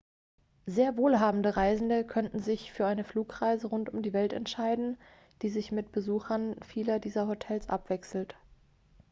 sehr wohlhabende reisende könnten sich für eine flugreise rund um die welt entscheiden die sich mit besuchen vieler dieser hotels abwechselt